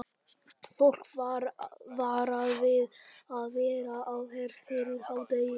Fólk er varað við að vera á ferð fyrir hádegi.